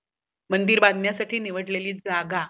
मंदिर बाधण्यासाठी निवडल्याली जागा